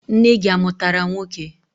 Nne gị amụtara nwoke?